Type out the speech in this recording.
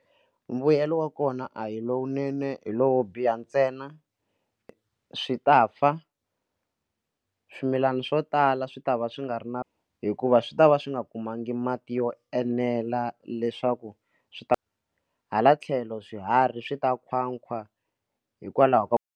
Mbuyelo wa kona a hi lowunene hi lowo biha ntsena swi ta fa swimilana swo tala swi ta va swi nga ri na hikuva swi ta va swi nga kumanga mati yo enela leswaku swi ta hala tlhelo swiharhi swi ta nkhwankhwa hikwalaho ka ku.